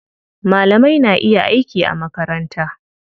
Malamai na iya aiki a makaranta.